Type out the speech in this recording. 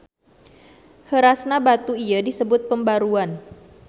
Heurasna batu ieu disebut pembaruan.